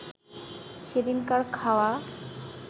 সেদিনকার খাওয়া